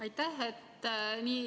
Aitäh!